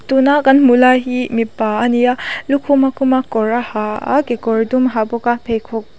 tuna kan hmuh lai hi mipa a ni a lukhum a khum a kawr a ha a kekawr dum a ha bawk a pheikhawk--